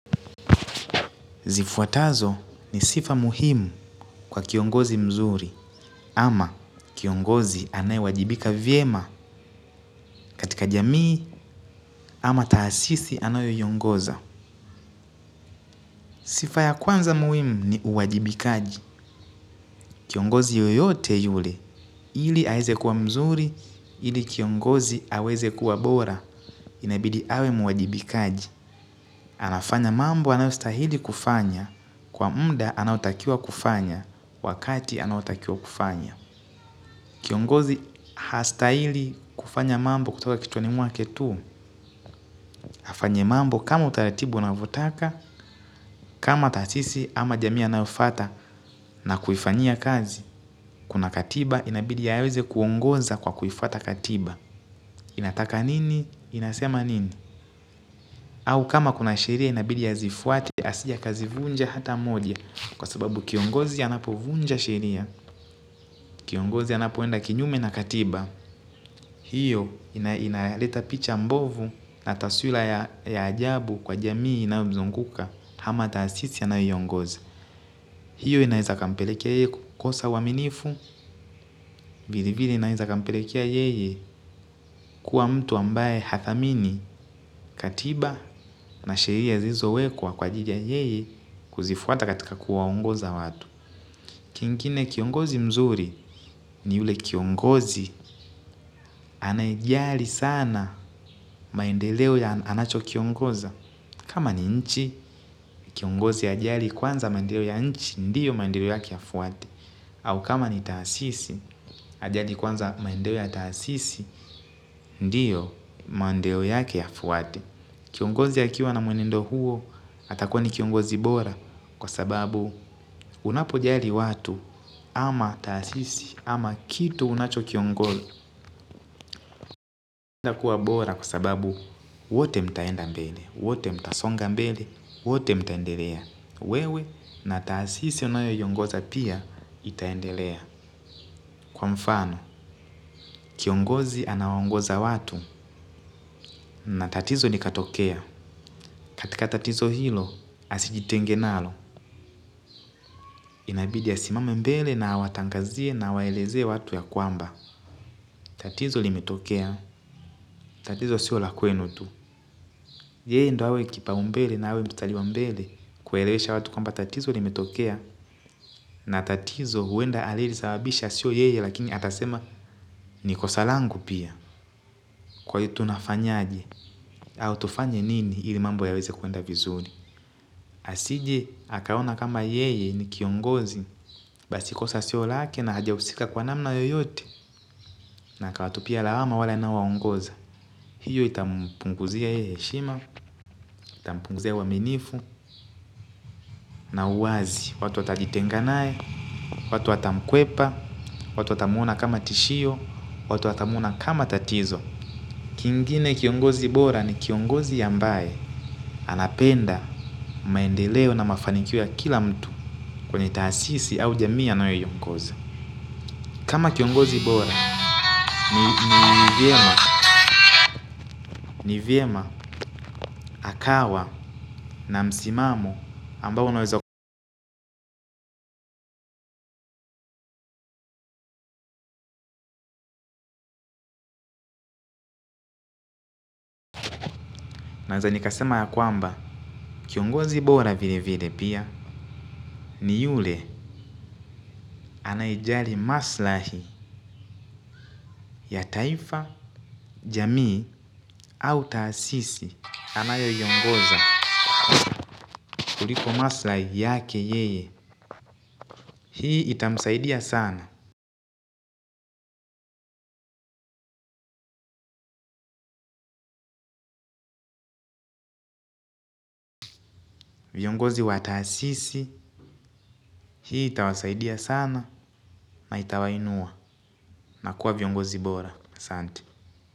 Zifuatazo ni sifa muhimu kwa kiongozi mzuri ama kiongozi anaye wajibika vyema katika jamii ama taasisi anayo iongoza. Sifa ya kwanza muhimu ni uwajibikaji. Kiongozi yoyote yule ili aeze kuwa mzuri ili kiongozi aweze kuwa bora inabidi awe muwajibikaji. Anafanya mambo anayostahili kufanya kwa mnda anaotakiwa kufanya wakati anaotakia kufanya. Kiongozi hastaili kufanya mambo kutoka kichwani mwake tu. Afanye mambo kama utaratibu ana votaka kama taasisi ama jamii anayofata na kuifanyia kazi kuna katiba inabidi aweze kuongoza kwa kuifuata katiba inataka nini inasema nini au kama kuna sheria inabidi azifuate asije akazivunja hata moja kwa sababu kiongozi anapovunja sheria kiongozi anapoenda kinyume na katiba. Hiyo inaleta picha mbovu na taswila ya ya ajabu kwa jamii inayomzunguka hama taasisi anayoiongoza. Hiyo inaeza kampelekea yeye kukosa uaminifu. Vile vile inaeza kampelekea yeye kuwa mtu ambaye hadhamini katiba na sheia ziizo wekwa kwa ajili ya yeye kuzifuata katika kuwa ongoza watu. Kingine kiongozi mzuri ni ule kiongozi anayejali sana maendeleo ya anacho kiongoza. Kama ni nchi, kiongozi ajali kwanza maendeo ya nchi, ndiyo maendeleo yake ya fuwate. Au kama ni taasisi, ajali kwanza maendeo ya taasisi, ndiyo mandeo yake ya fuwate. Kiongozi akiwa na mwenendo huo, atakuwa ni kiongozi bora. Kwa sababu, unapo jali watu, ama taasisi, ama kitu unacho kiongoza. Kuwa bora sababu, wote mtaenda mbele, wote mtasonga mbele, wote mtaendelea. Wewe na taasisi unayoiongoza pia itaendelea. Kwa mfano, kiongozi anawaongoza watu na tatizo likatokea. Katika tatizo hilo asijitenge nalo. Inabidi asimame mbele na awatangazie na awaelezee watu ya kwamba. Tatizo limetokea. Tatizo sio la kwenu tu. Yeye ndo awe kipa umbele na awe mstali wa mbele kuelewesha watu kwamba tatizo limetokea. Na tatizo huenda alie risababisha sio yeye lakini atasema nikosalangu pia. Kwa hi tunafanyaje au tufanye nini ili mambo ya weze kuenda vizuri. Asije akaona kama yeye ni kiongozi. Basikosa sio lake na hajahusika kwa namna yoyote. Na aka watupia lawama wale anawaongoza. Hiyo itampunguzia yeye heshima, itampunguzia uaminifu na uwazi. Watu watajitenga naye, watu watamkwepa, watu watamuona kama tishio watu watamuona kama tatizo kingine kiongozi bora ni kiongozi ambaye anapenda maendeleo na mafanikio ya kila mtu. Kwenye taasisi au jamii anayo iongoza kama kiongozi bora ni vyema ni vyema akawa na msimamo ambao unaweza. Naweza nikasema ya kwamba kiongozi bora vile vile pia ni yule anayejali maslahi ya taifa, jamii au taasisi anayo iongoza kuliko maslahi yake yeye. Hii itamsaidia sana. Viongozi wa taasisi hii itawasaidia sana. Na itawainua. Nakuwa viongozi bora asanti.